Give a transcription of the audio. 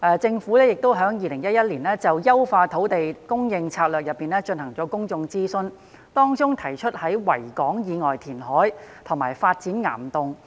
政府在2011年就"優化土地供應策略"進行公眾諮詢時，提出在維港以外填海及發展岩洞的方案。